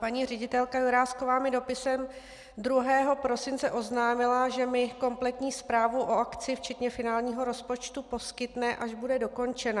Paní ředitelka Jurásková mi dopisem 2. prosince oznámila, že mi kompletní zprávu o akci včetně finálního rozpočtu poskytne, až bude dokončena.